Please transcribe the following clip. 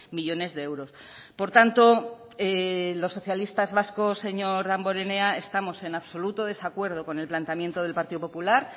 millónes de euros por tanto los socialistas vascos señor damborenea estamos en absoluto desacuerdo con el planteamiento del partido popular